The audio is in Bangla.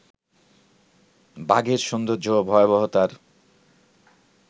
বাঘের সৌন্দর্য ও ভয়াবহতার